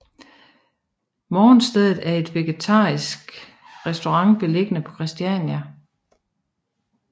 Morgenstedet er en vegetarisk restaurant beliggende på Christiania